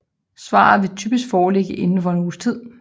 Svaret vil typisk foreligge indenfor en uges tid